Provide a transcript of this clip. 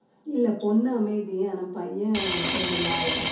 இல்ல பொண்ணு அமைதி ஆனா பையன் கொஞ்ச வாலு தான்